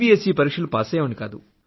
ఇ ఈ పరీక్షలు పాసయ్యేవాణ్ణి కాదు